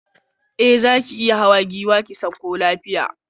Eh zaki iya hawa giwa ki sauka lafiya